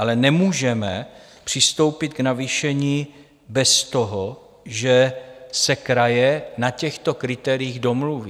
Ale nemůžeme přistoupit k navýšení bez toho, že se kraje na těchto kritériích domluví.